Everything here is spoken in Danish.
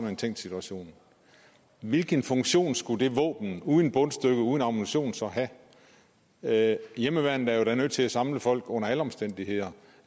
en tænkt situation hvilken funktion skulle det våben uden bundstykke og uden ammunition så have have hjemmeværnet er jo da nødt til at samle folk under alle omstændigheder